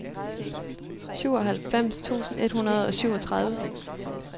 syvoghalvfems tusind et hundrede og syvogtredive